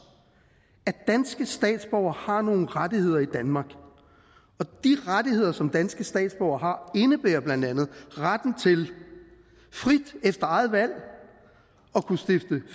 at danske statsborgere har nogle rettigheder i danmark og de rettigheder som danske statsborgere har indebærer blandt andet retten til frit at kunne stifte